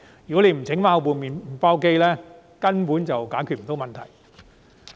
如果不把麵包機修好，根本不能解決問題。